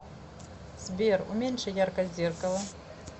сбер уменьши яркость зеркала